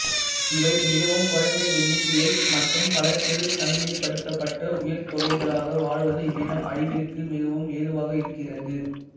இவை மிகவும் குறைந்த எண்ணிக்கையில் மற்றும் பல சிறு தனிமைப்படுத்தப்பட்ட உயிர்த்தொகைகளாக வாழ்வது இவ்வினம் அழிவதற்கு மிகவும் ஏதுவாக இருக்கிறது